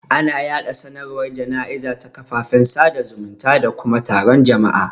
Ana yaɗa sanarwar jana'iza ta kafafen sada zumunta da kuma taron jama'a.